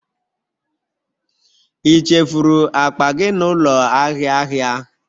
Ị chefuru akpa gị n'ụlọ ahịa ahịa?